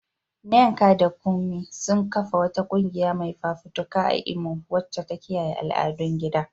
Nneka da Kunmi sun kafa wata kungiya mai fafutuka a Imo wacce ta kiyaye al'adun gida.